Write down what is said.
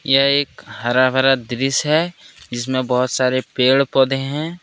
यह एक हरा भरा दृश्य है जिसमें बहुत सारे पेड़ पौधे हैं।